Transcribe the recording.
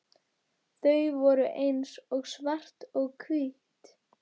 Þau voru eins og svart og hvítt.